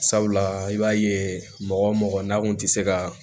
Sabula i b'a ye mɔgɔ o mɔgɔ n'a kun tɛ se ka